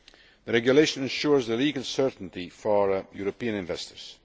The regulation ensures legal certainty for European investors.